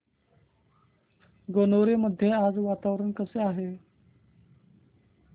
गणोरे मध्ये आज वातावरण कसे आहे